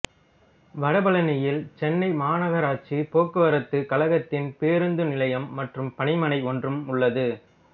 வடபழநியில் சென்னை மாநகராட்சி போக்குவரத்துக் கழகத்தின் பேருந்து நிலையம் மற்றும் பணிமனை ஒன்றும் உள்ளது